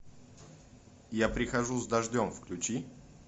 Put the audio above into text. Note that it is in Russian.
я прихожу с дождем включи